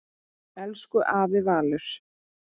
Elsku afi Valur.